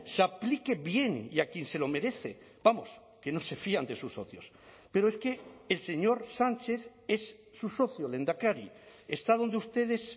se aplique bien y a quien se lo merece vamos que no se fían de sus socios pero es que el señor sánchez es su socio lehendakari está donde ustedes